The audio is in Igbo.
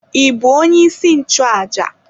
Ị bụ onye isi nchụàjà?